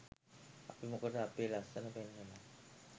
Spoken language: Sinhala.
අපි මොකටද අපේ ලස්‌සන පෙන්වලා